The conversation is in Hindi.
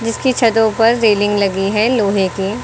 इसकी छतों पर रेलिंग लगी है लोहे कि।